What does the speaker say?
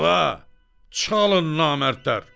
Aha, çalın namərdlər!